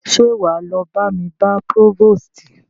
Ṣé wá lọ bá mi bá próvòstì?